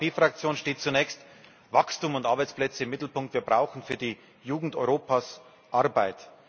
Für uns als EVP Fraktion stehen zunächst Wachstum und Arbeitsplätze im Mittelpunkt. Wir brauchen für die Jugend Europas Arbeit.